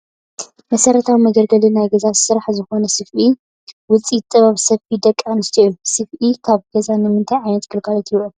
መሰረታዊ መገልገሊ ናይ ገዛ ስራሕ ዝኾነ ሰፍኢ ውፅኢት ጥበብ ስፈ ደቂ ኣንስትዮ እዩ፡፡ ሰፍኢ ኣብ ገዛ ንምንታይ ዓይነት ግልጋሎት ይውዕል?